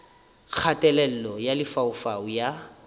kgatelelo ya lefaufau e a